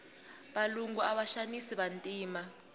valungu ava xanisa vantima